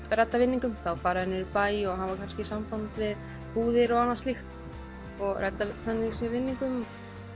redda vinningum þá fara þeir niður í bæ og hafa kannski samband við búðir og annað slíkt og redda þannig vinningum